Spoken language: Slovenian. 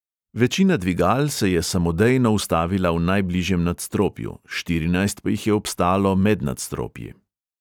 Večina dvigal se je samodejno ustavila v najbližjem nadstropju, štirinajst pa jih je obstalo med nadstropji.